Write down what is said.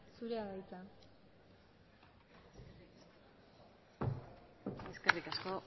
zurea da hitza eskerrik asko